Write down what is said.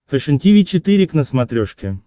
фэшен тиви четыре к на смотрешке